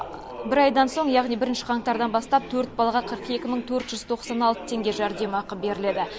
бір айдан соң яғни бірінші қаңтардан бастап төрт балаға қырық екі мың төрт жүз тоқсан алты теңге жәрдемақы беріледі